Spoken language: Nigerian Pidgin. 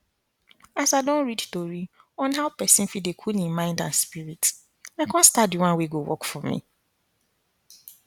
as i don read tori on how pesin fit dey cool hin mind and spirit i con start d one wey go work for me